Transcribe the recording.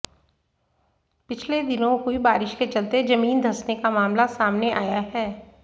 पिछले दिनों हुई बारिश के चलते जमीन धंसने का मामला सामने आया है